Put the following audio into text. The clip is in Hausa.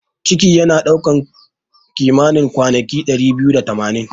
Ciki yana kai kimanin kwanaki dari biyu da tamanin.